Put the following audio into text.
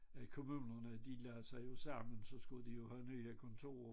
Øh kommunerne de lagde sig jo sammen så skulle de jo have nye kontorer